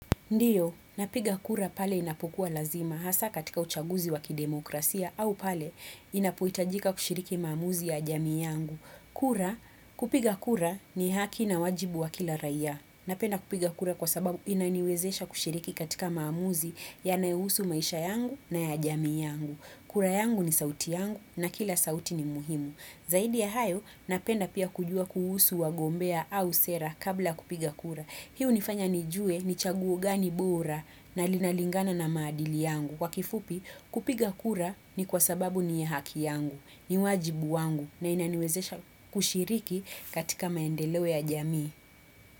Ndiyo, napiga kura pale inapokuwa lazima hasa katika uchaguzi wakidemokrasia au pale inapoitajika kushiriki maamuzi ya jami yangu. Kura, kupiga kura ni haki na wajibu wa kila raya. Napenda kupiga kura kwa sababu inaniwezesha kushiriki katika maamuzi yanayohusu maisha yangu na ya jami yangu. Kura yangu ni sauti yangu na kila sauti ni muhimu. Zaidi ya hayo, napenda pia kujua kuhusu wagombea au sera kabla kupiga kura. Hii unifanya nijue ni chaguo gani bora na linalingana na madili yangu. Kwa kifupi, kupiga kura ni kwa sababu ni ya haki yangu, ni wajibu wangu na inaniwezesha kushiriki katika maendelewe ya jamii.